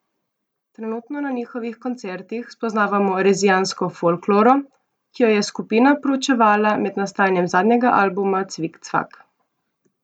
Trenutno na njihovih koncertih spoznavamo rezijansko folkloro, ki jo je skupina proučevala med nastajanjem zadnjega albuma Cvik cvak!